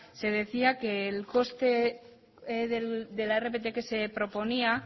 se decía que el coste de la rpt que se proponía